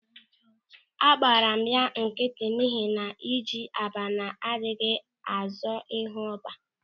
Agbara m ya nkịtị n'ihi na ji abana adịghị azọ ịhu ọ́bá.